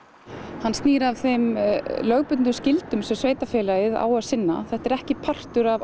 hann snýr að þeim lögbundnu skyldum sem sveitarfélagið á að sinna þetta er ekki partur af